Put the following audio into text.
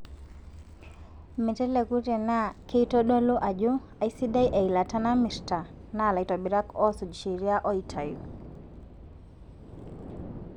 Meteleku tenaa keitodolu ajo aisidai eilata namirta naa laitobirak oosuj sheria oitayu.